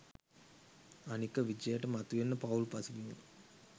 අනික විජයට මතුවෙන්න පවුල් පසුබිම